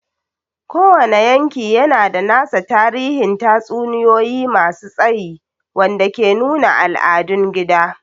Kowane yanki yana da nasa tarihin tatsuniyoyi masu tsayi wanda ke nuna al'adun gida.